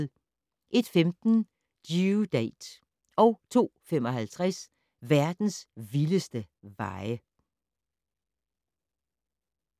01:15: Due Date 02:55: Verdens vildeste veje